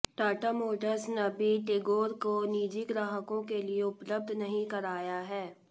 Tata motors ने अभी टिगोर को निजी ग्राहकों के लिए उपलब्ध नहीं कराया है